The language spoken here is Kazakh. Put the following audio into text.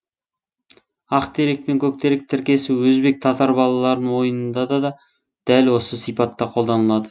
ақ терек пен көк терек тіркесі өзбек татар балалар ойынында да дәл осы сипатта қолданылады